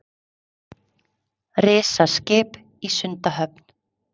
Risaskip í Sundahöfn